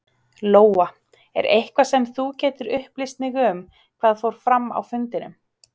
Lóa: Er eitthvað sem þú getur upplýst mig um hvað fór fram á fundinum?